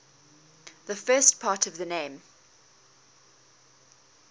the first part of the name